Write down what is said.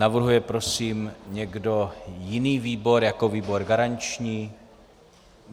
Navrhuje prosím někdo jiný výbor jako výbor garanční?